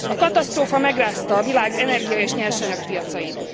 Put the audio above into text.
A katasztrófa megrázta a világ energia és nyersanyagpiacait.